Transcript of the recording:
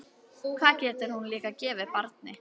Hvað getur hún líka gefið barni?